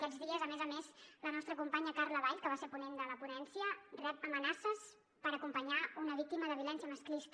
aquests dies a més a més la nostra companya carla vall que va ser ponent de la ponència rep amenaces per acompanyar una víctima de violència masclista